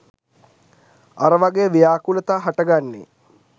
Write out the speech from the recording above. අර වගෙ ව්‍යාකූලතා හට ගන්නෙ